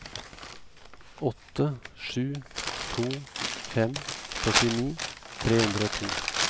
åtte sju to fem førtini tre hundre og to